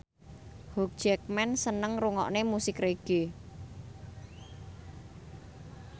Hugh Jackman seneng ngrungokne musik reggae